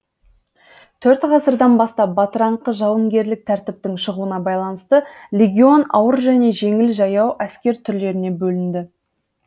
төрт ғасырдан бастап бытыраңқы жауынгерлік тәртіптің шығуына байланысты легион ауыр және жеңіл жаяу әскер түрлеріне бөлінді